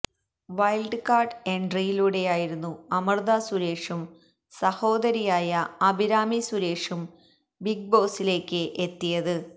wild card എന്ട്രിയിലൂടെയായിരുന്നു അമൃത സുരേഷും സഹോദരിയായ അഭിരാമി സുരേഷും ബിഗ് ബോസിലേക്ക് എത്തിയത്